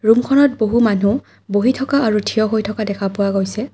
ৰূমখনত বহু মানুহ বহি থকা আৰু থিয় হৈ থকা দেখা পোৱা গৈছে।